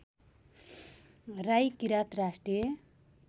राई किरात राष्ट्रिय